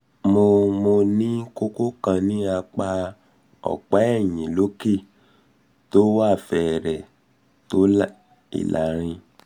mo mo ní kókó kan ní apá ọ̀pá ẹ̀yìn lókè tó fẹrẹ̀ẹ́ tó ìlàrin